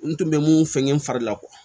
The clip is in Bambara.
N tun bɛ mun sɛgɛn n fari la